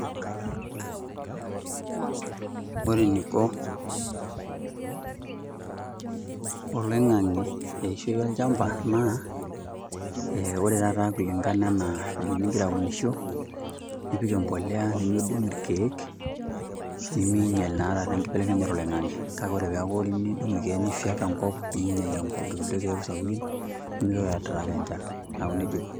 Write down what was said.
Ore eniko, oloingang'e eishoi olchampa, naa ore taa kulingana anaa enigira ailunishoo, ipik empuliya, emidung irkeek, niminhial naa taata enkibelekenyata oloingang'e. kake ore naa pee idungu irkkek ningiala irkeek sapukin, ni attract enchan.